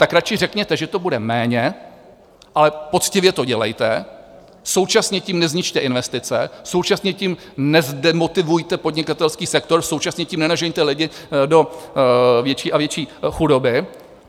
Tak radši řekněte, že to bude méně, ale poctivě to dělejte, současně tím nezničte investice, současně tím nezdemotivujte podnikatelský sektor, současně tím nenažeňte lidi do větší a větší chudoby.